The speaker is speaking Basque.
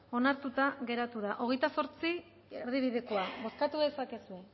onartuta geratu da hogeita zortzi erdibidekoa bozkatu dezakegu